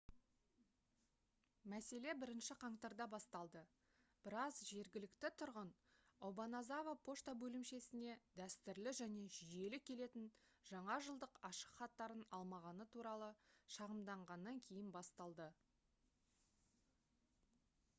мәселе 1-ші қаңтарда басталды біраз жергілікті тұрғын обаназава пошта бөлімшесіне дәстүрлі және жүйелі келетін жаңа жылдық ашықхаттарын алмағаны туралы шағымданғаннан кейін басталды